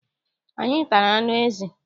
Anyị tara anụ ezi.